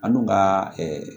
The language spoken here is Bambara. An dun ka